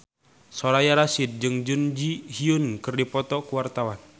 Soraya Rasyid jeung Jun Ji Hyun keur dipoto ku wartawan